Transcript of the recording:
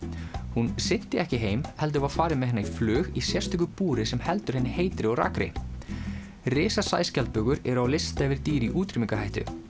hún synti ekki heim heldur var farið með hana í flug í sérstöku búri sem heldur henni heitri og rakri eru á lista yfir dýr í útrýmingarhættu